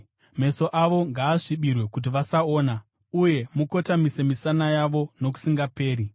Meso avo ngaasvibirwe kuti vasaona; uye mukotamise misana yavo nokusingaperi.”